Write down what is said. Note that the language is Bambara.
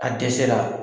A dɛsɛra